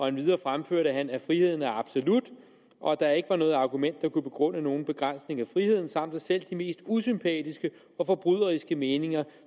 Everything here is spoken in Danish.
endvidere fremførte han at friheden er absolut og at der ikke var noget argument der kunne begrunde nogen begrænsning af friheden samt at selv de mest usympatiske og forbryderiske meninger